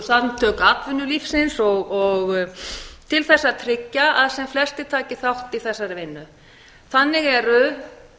samtökum atvinnulífsins til þess að tryggja að sem flestir taki þátt í þessari vinnu þannig eru